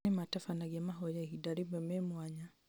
aya nĩmatabanagia mahoya ihinda rĩmwe me mwanya